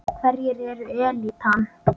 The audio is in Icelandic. Hverjir eru elítan?